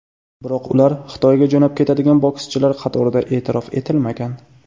Biroq ular Xitoyga jo‘nab ketadigan bokschilar qatorida e’tirof etilmagan.